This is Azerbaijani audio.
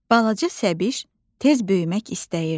Balaca Səbiş tez böyümək istəyirdi.